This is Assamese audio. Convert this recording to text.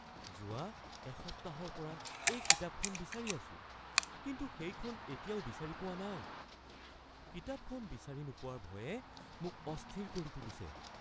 যোৱা এসপ্তাহৰ পৰা এই কিতাপখন বিচাৰি আছো কিন্তু সেইখন এতিয়াও বিচাৰি পোৱা নাই। কিতাপখন বিচাৰি নোপোৱাৰ ভয়ে মোক অস্থিৰ কৰি তুলিছে।